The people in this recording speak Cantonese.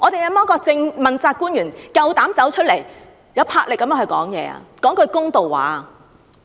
有沒有問責官員有膽出來有魄力地發聲，說一句公道話？